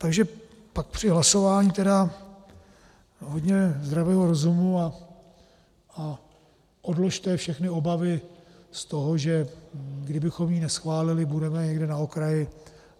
Takže pak při hlasování tedy hodně zdravého rozumu a odložte všechny obavy z toho, že kdybychom ji neschválili, budeme někde na okraji.